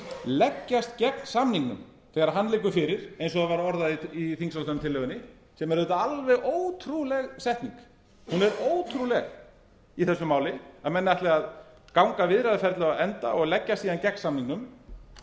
leggjast gegn samningnum þegar hann liggur fyrir eins og það var orðað í þingsályktunartillögunni sem er alveg ótrúleg setning hún er ótrúleg í þessu máli að menn ætli að ganga viðræðuferlið á enda og leggjast áðan gegn samningnum